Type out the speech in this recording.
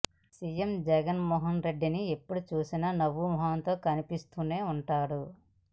CM Jagan Mohan రెడ్డిని ఎప్పుడు చూసిన నవ్వు మొఖంతో కనిపిస్తూనే ఉంటాడు